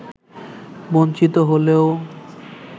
বঞ্চিত হলেও